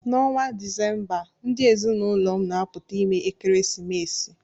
N'ọnwa Disemba, ndị ezinụlọ m na-apụta ime ekeresimesi